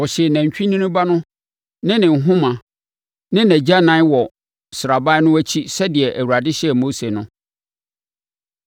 Wɔhyee nantwinini ba no ne ne nhoma ne nʼagyanan wɔ sraban no akyi sɛdeɛ Awurade hyɛɛ Mose no.